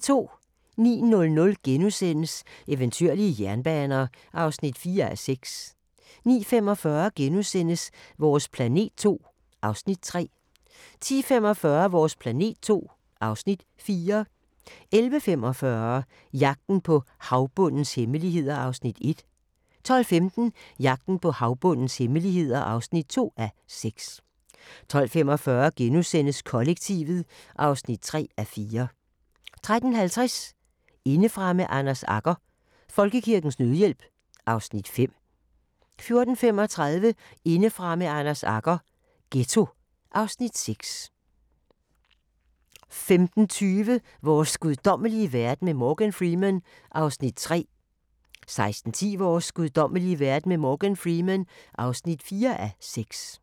09:00: Eventyrlige jernbaner (4:6)* 09:45: Vores planet II (Afs. 3)* 10:45: Vores planet II (Afs. 4) 11:45: Jagten på havbundens hemmeligheder (1:6) 12:15: Jagten på havbundens hemmeligheder (2:6) 12:45: Kollektivet (3:4)* 13:50: Indefra med Anders Agger – Folkekirkens Nødhjælp (Afs. 5) 14:35: Indefra med Anders Agger – Ghetto (Afs. 6) 15:20: Vores guddommelige verden med Morgan Freeman (3:6) 16:10: Vores guddommelige verden med Morgan Freeman (4:6)